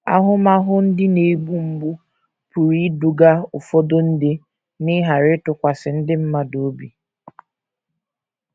Ahụmahụ ndị na - egbu mgbu pụrụ iduga ụfọdụ ndị n’ịghara ịtụkwasị ndị mmadụ obi.